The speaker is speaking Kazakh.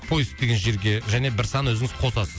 поиск деген жерге және бір сан өзіңіз қосасыз